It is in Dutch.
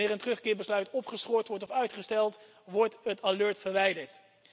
Wanneer een terugkeerbesluit opgeschort wordt of uitgesteld, wordt het alert verwijderd.